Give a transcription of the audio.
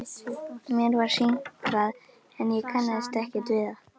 Mér var sýnt það en ég kannaðist ekkert við það.